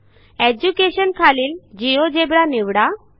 education खालील GeoGebra निवडा